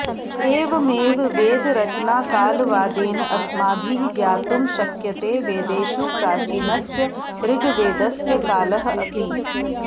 एवमेव वेदरचनाकालवादेन अस्माभिः ज्ञातुं शक्यते वेदेषु प्राचीनस्य ऋग्वेदस्य कालः अपि